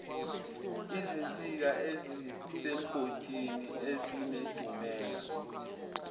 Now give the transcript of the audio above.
izinsika ezisemgodini ezinedumela